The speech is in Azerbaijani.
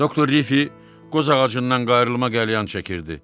Doktor Riffi qoz ağacından qayırlma qəlyan çəkirdi.